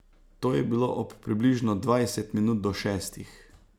To je bilo ob približno dvajset minut do šestih.